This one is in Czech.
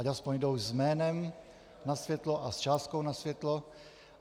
Ať aspoň jdou s jménem na světlo a s částkou na světlo.